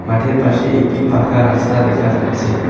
মাঠের পাশে একটি পাকা রাস্তা দেখা যাচ্ছে।